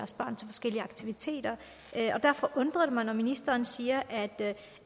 forskellige aktiviteter derfor undrer det mig når ministeren siger at